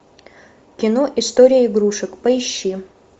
кино история игрушек поищи